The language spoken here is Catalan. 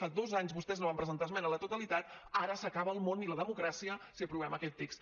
fa dos anys vostès no van presentar esmena a la totalitat ara s’acaba el món i la democràcia si aprovem aquest text